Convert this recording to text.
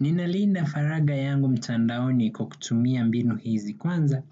Ninalinda faragha yangu mtandaoni kwa kutumia mbinu hizi. Kwanza,